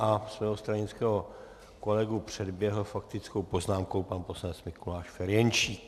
A svého stranického kolegu předběhl faktickou poznámkou pan poslanec Mikuláš Ferjenčík.